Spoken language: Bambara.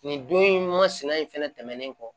Nin don in masinɛ in fɛnɛ tɛmɛnen kɔ